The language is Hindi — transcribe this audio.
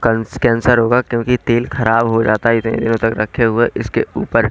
कंस कैंसर होगा क्योंकि तेल खराब हो जाता है रखे हुए इसके ऊपर--